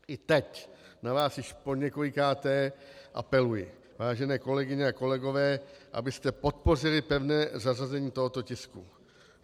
I teď na vás již poněkolikáté apeluji, vážené kolegyně a kolegové, abyste podpořili pevné zařazení tohoto tisku.